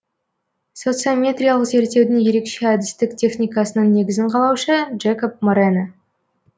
социометриялық зерттеудің ерекше әдістік техникасының негізін қалаушы джекоб морено